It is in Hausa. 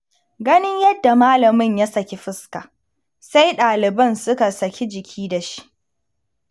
Ganin yadda malamin ya saki fuska, sai ɗaliban suka saki jiki da shi.